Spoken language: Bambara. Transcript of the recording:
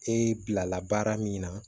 E bilala baara min na